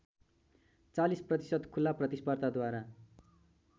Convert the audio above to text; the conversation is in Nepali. ४० प्रतिशत खुला प्रतिस्पर्धाद्वारा